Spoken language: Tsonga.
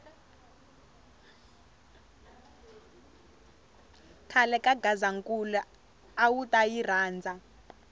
khale ka gazankulu awuta yi rhandza